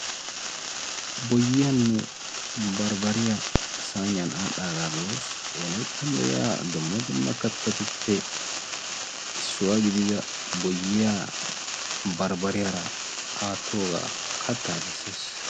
Boyyiyaanne barbbariya sayniyan adhdhaagaa be'oos. Wolayttan de'iya dumma dumma kattatuppe issuwa gidida boyyiyaa marbbariyaara attoogaa kattaa bessees.